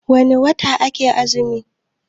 wane wata ake azumi?